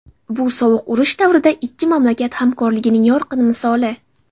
Bu sovuq urush davrida ikki mamlakat hamkorligining yorqin misoli.